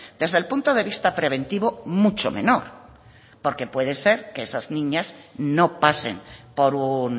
desde el punto de vista preventivo mucho menor porque puede ser que esas niñas no pasen por un